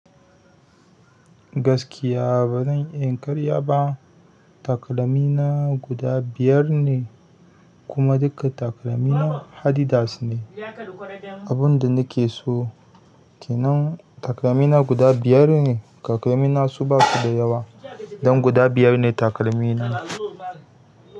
Gaskiya ba zan iya yin ƙarya ba. Takalmina guda biyar ne kuma duka takalmina Adidas ne. Abun da nake so kenan takalmina guda biyar ne. Takalmina su basu da yawa don guda biyar ne takalmina.